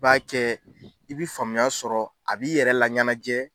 I b'a kɛ i bi faamuya sɔrɔ a b'i yɛrɛ laɲɛnajɛ,